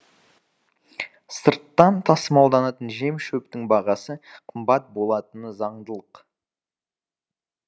сырттан тасымалданатын жем шөптің бағасы қымбат болатыны заңдылық